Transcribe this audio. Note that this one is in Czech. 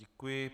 Děkuji.